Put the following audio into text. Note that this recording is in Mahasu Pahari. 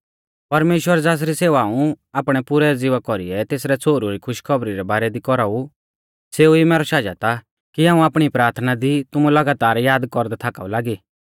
परमेश्‍वर ज़ासरी सेवा हाऊं आपणै पुरै ज़िवा कौरीऐ तेसरै छ़ोहरु री खुशीखौबरी रै बारै दी कौराऊ सेऊ ई मैरौ शाजत आ की हाऊं आपणी प्राथना दी तुमु लगातार याद कौरदै थाकाऊ लागी